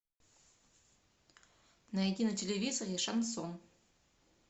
найди на телевизоре шансон